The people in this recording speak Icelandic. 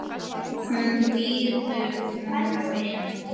Hún býður honum inn.